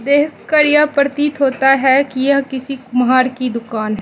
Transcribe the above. देख कर यह प्रतीत होता है कि यह किसी कुम्हार की दुकान --